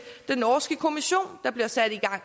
den norske kommission der bliver sat i gang